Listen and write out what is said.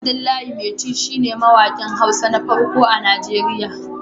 Abdullahi Maiti shi ne mawaƙin Hausa na farko a Nigeriya